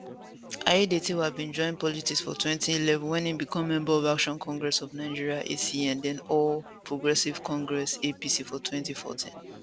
aiyedatiwa bin join politics for 2011 wen e become member of action congress of nigeria acn den all progressives congress apc for 2014